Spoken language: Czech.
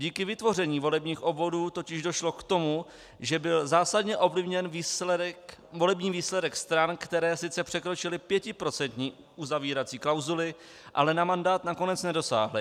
Díky vytvoření volebních obvodů totiž došlo k tomu, že byl zásadně ovlivněn volební výsledek stran, které sice překročily pětiprocentní uzavírací klauzuli, ale na mandát nakonec nedosáhly.